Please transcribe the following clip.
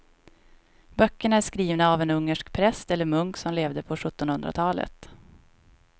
Böckerna är skrivna av en ungersk präst eller munk som levde på sjuttonhundratalet.